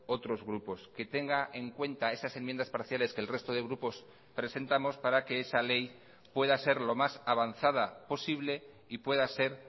otros grupos que tenga en cuenta esas enmiendas parciales que el resto de grupos presentamos para que esa ley pueda ser lo más avanzada posible y pueda ser